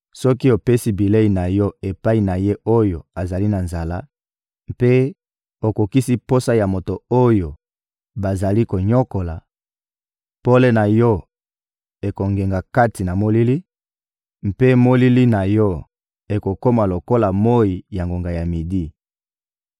soki opesi bilei na yo epai na ye oyo azali na nzala mpe okokisi posa ya moto oyo bazali konyokola, pole na yo ekongenga kati na molili, mpe molili na yo ekokoma lokola moyi ya ngonga midi.